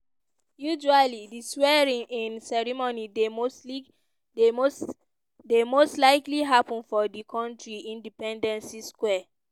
usually di swearing-in-ceremony dey mostly dey most dey most likely happun for di kontri independency square.